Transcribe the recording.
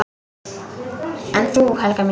En þú, Helga mín?